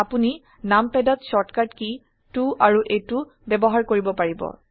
আপোনি নামপাদ ত শৰ্টকাট কী 2 আৰু 8 ও ব্যবহাৰ কৰিব পাৰিব